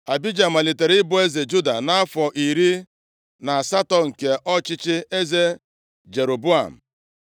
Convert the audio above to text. Abija malitere ịbụ eze Juda, nʼafọ iri na asatọ nke ọchịchị eze Jeroboam.